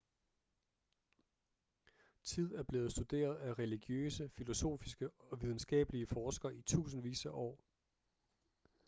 tid er blevet studeret af religiøse filosofiske og videnskabelige forskere i tusindvis af år